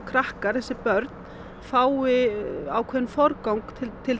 börnin fái forgang